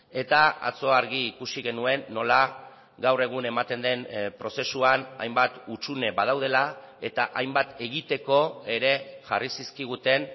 eta atzo argi ikusi genuen nola gaur egun ematen den prozesuan hainbat hutsune badaudela eta hainbat egiteko ere jarri zizkiguten